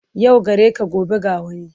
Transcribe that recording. Yau gare ka gobe ga wani.